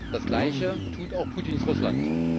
Das Gleiche tut auch Putins Russland.